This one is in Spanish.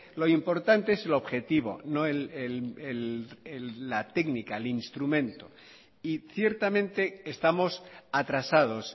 lo importante es el objetivo no la técnica el instrumento y ciertamente estamos atrasados